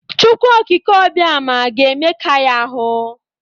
Chukwu okike Obioma ga-emeka ya ahụ.